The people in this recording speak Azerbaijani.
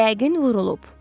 Yəqin vurulub.